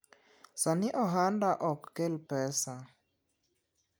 sani ohanda ok kel pesa